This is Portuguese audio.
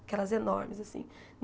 Aquelas enormes, assim.